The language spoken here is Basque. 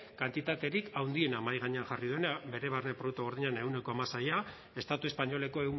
kantitaterik handiena mahai gainean jarri duena bere barne produktu gordinaren ehuneko hamaseia estatu espainoleko